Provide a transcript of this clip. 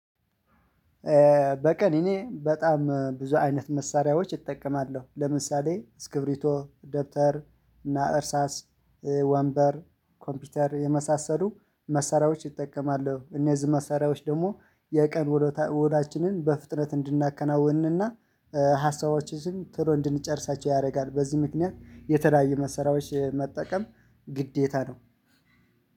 በቀን እኔ በጣም ብዙ አይነት መሳሪያዎች እጠቀማለሁ ለምሳሌ ስክብሪቶ ደብተር እና እርሳስ ወንበር ኮምፒውተር የመሳሰሉ መሳሪያዎች እጠቀማለው እነዚህ መሳሪያዎች ደግሞ የቀን ዉሎችንን በፍጥነት እንድናከናውንና እንድንጨርሳቸው ያደርጋል። በዚህ ምክንያት የተለያዩ መሳሪያዎች መጠቀም ግዴታ ነው።